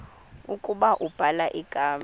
ukuba ubhala igama